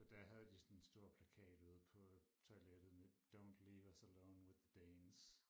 Og der havde de sådan en stor plakat ude på toilettet med don't leave us alone with the Danes